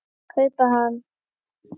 kaupa hann.